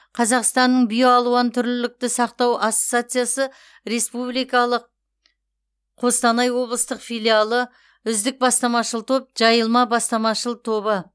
қазақстанның биоалуантүрлілікті сақтау ассоциациясы республикалық қостанай облыстық филиалы үздік бастамашыл топ жайылма бастамашыл тобы